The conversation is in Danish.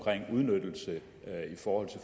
udnyttelse i form af